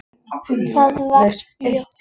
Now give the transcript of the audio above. Það vex fljótt.